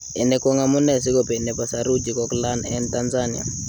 Ini kwang amune si ko bei nepo saruji koklayn en Tanzania